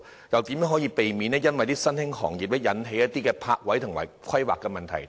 如何避免因新興行業而引起泊位和規劃問題？